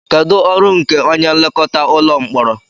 Kedu ọrụ nke onye nlekọta ụlọ mkpọrọ